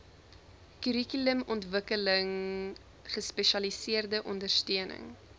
kurrikulumontwikkeling gespesialiseerde ondersteuning